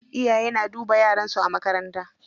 Iyaye na duba yaran su a makarantar.